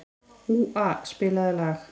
Úa, spilaðu lag.